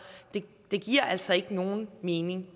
det giver altså ikke nogen mening